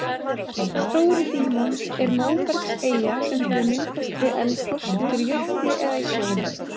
Stóri-Dímon er móbergseyja sem hefur myndast við eldgos undir jökli eða í sjó.